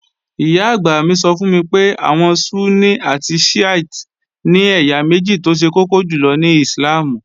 Ìyá-àgbà mi sọ fún mi pé àwọn Súnní àti Shíítè ni ẹ̀yà méjì tó ṣe kọ́kọ́ jùlọ ní Íslàmù